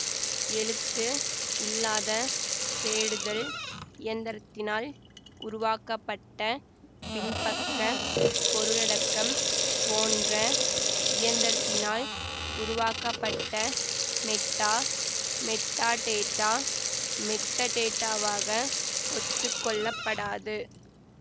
எழுத்துஇல்லாத தேடுதல் இயந்திரத்தினால் உருவாக்கப்பட்ட பின்பக்க பொருளடக்கம் போன்ற இயந்திரத்தினால் உருவாக்கப்பட்ட மெட்டாமெட்டாடேட்டா மெட்டடேட்டாவாக ஒத்துக்கொள்ளப்படாது